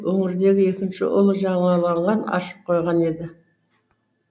өнердегі екінші ұлы жаңалағын ашып қойған еді